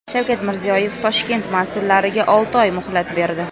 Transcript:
Shavkat Mirziyoyev Toshkent mas’ullariga olti oy muhlat berdi.